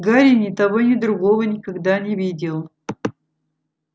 гарри ни того ни другого никогда не видел